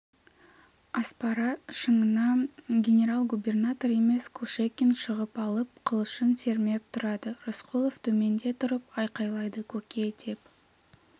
аспара шыңына генерал-губернатор емес кушекин шығып алып қылышын сермеп тұрады рысқұлов төменде тұрып айқайлайды көке деп